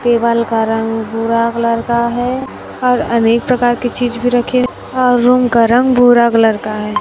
Table का रंग भूरा कलर का है और अनेक प्रकार की चीज भी रखें और रूम का रंग भूरा कलर का है।